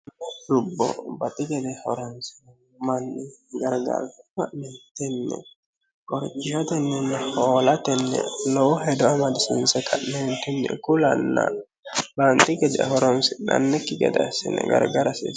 rubbo baxxi gede horansino manni gargaarffa mentenne gorcishotenninni hoolatenni lowo hedo amadisiinsota neentunni kulanna baanxi geja horonsi'nannikki gede assine gargara hasiissano